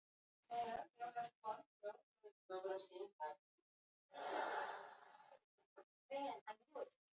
Hann er fallega álfslegur.